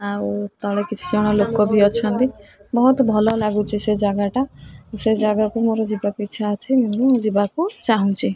ଆଉ ତଳେ କିଛି ଜଣ ଲୋକ ବି ଅଛନ୍ତି ବୋହୁତ ଭଲ ଲାଗୁଚି ସେ ଜାଗାଟା ସେ ଜାଗାକୁ ମୋର ଯିବାକୁ ଇଚ୍ଛା ଅଛି ମୁଁ ଯିବାକୁ ଚାହୁଁଚି।